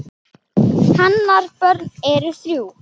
Hennar börn eru þrjú.